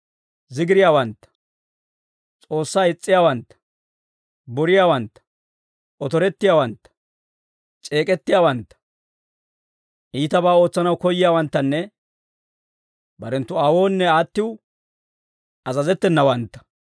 zigiriyaawantta, S'oossaa is's'iyaawantta, boriyaawantta, otorettiyaawantta, c'eek'ettiyaawantta, iitabaa ootsanaw koyyiyaawanttanne barenttu aawoonne aattiw azazettenawantta,